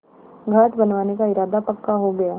घाट बनवाने का इरादा पक्का हो गया